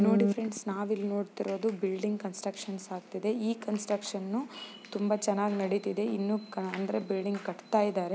ನೋಡಿ ಫ್ರೆಂಡ್ಸ್ ಒಂದು building construction ಆಗ್ತಿದೆ. ಈ ಕನ್ಸ್ಟ್ರಕ್ಷನ್ನು ತುಂಬಾ ಚೆನ್ನಾಗಿ ನಡೆದಿದೆ. ಇನ್ನು ಅಂದ್ರೆ ಬಿಲ್ಡಿಂಗ್ ಕಟ್ಟುತ್ತಿದ್ದಾರೆ.